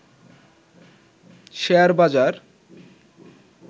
share বাজার